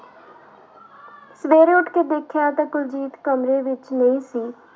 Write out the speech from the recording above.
ਸਵੇਰੇ ਉੱਠ ਕੇ ਦੇਖਿਆ ਤਾਂ ਕੁਲਜੀਤ ਕਮਰੇ ਵਿੱਚ ਨਹੀਂ ਸੀ।